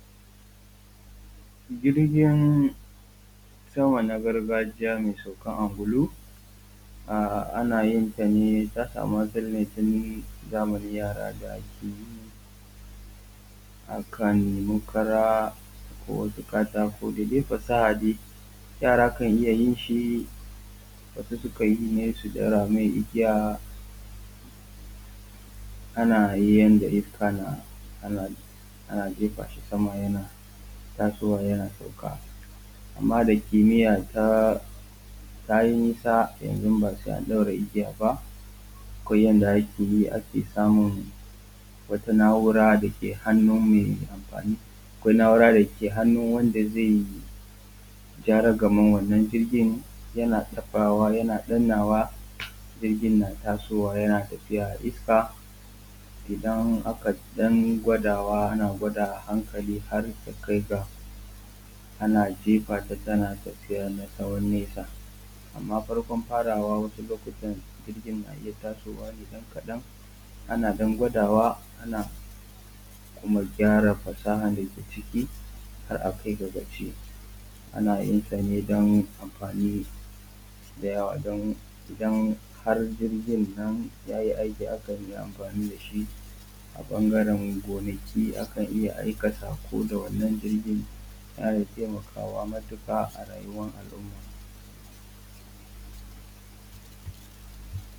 Jirgin sama na gargajiya mai saukan ungulu an ana yin ta ne, ta samu asali ne tun zamanin yara da ake yi, akan nemi kara ko wasu katako da dai fasaha dai yara kan iya yin shi. Wasu sukan iya yin shi su ɗaura mai igiya, ana yin yanda iska na ana jefa shi sama yana tasowa yana sauka. Amma da kimmiya ta yi nisa yanzu ba sai an ɗaura igiya ba, akwai yanda ake yi ake samun wata na’ura da ke hannu mai anfani, akwai na’urɓa dake hannu wanda zai ja ragaman wannan jirgin, yana taɓawa yana dannawa jirgin na tasowa yana tafiya a iska. Idan aka ɗan gwadawa ana gwadawa a hankali har ta kai ga ana jefa ta tana tafiya na tsawon nesa. Amma farkon farawa wasu lokutan jirgin na iya tasowa ne ɗan kaɗan ana ɗan gwadawa ana kuma gyara fasahan da ke ciki har akai ka gaci ana yin sa ne don amfani da yawa. Idan har jirgin yayi aiki akan yi amfanin da shi a ɓangaran gonaki akan iya aika sako da wannan jirgin, yana taimakawa matuƙa a rayuwar alumma.